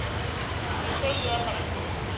Því segi ég nei